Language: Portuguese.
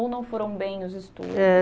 Ou não foram bem os estudos? Eh